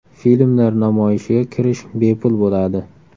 Filmlar namoyishiga kirish bepul bo‘ladi.